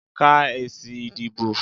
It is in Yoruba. Ka èsì ìdìbò.